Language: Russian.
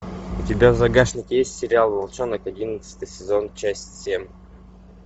у тебя в загашнике есть сериал волчонок одиннадцатый сезон часть семь